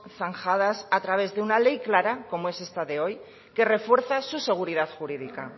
zanjadas a través de una ley clara como es esta de hoy que refuerza su seguridad jurídica